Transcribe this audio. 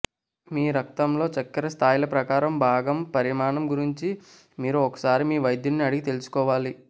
మీ రక్తంలో చక్కెర స్థాయిల ప్రకారం భాగం పరిమాణం గురించి మీరు ఒకసారి మీ వైద్యుడిని అడిగి తెలుసుకోవాలి